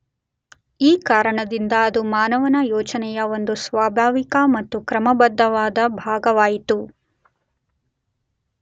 ಈ ಕಾರಣದಿಂದ ಅದು ಮಾನವನ ಯೋಚನೆಯ ಒಂದು ಸ್ವಾಭಾವಿಕ ಮತ್ತು ಕ್ರಮಬದ್ಧವಾದ ಭಾಗವಾಯಿತು.